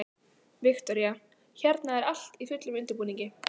Viktoría: Hérna er allt í fullum undirbúningi?